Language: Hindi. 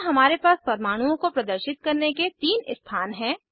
यहाँ हमारे पास परमाणुओं को प्रदर्शित करने के 3 स्थान हैं